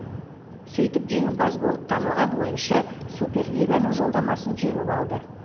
сөйтіп жеңімпаз болып танылған ойыншы супер лиганың жолдамасын жеңіп алды